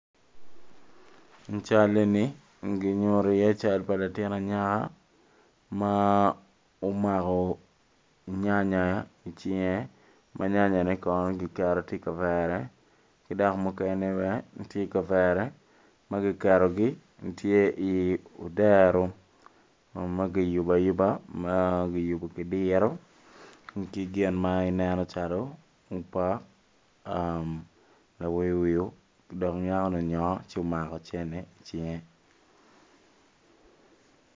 I can eni ginyuto iye cal pa latin anyaka ma omako nyanya icinge ma nyanyane kono kiketo tye i kavere ki dok mukene bene tye i kavere ma kiketogi gitye i odero ma kiyubo ayuba meno kiyubu ki diro ki gin ma ineno calo pok lawiwio dong nyakoni onyonyo ci omako cene icinge.